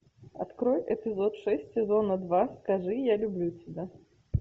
открой эпизод шесть сезона два скажи я люблю тебя